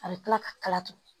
A bɛ kila ka kala tugu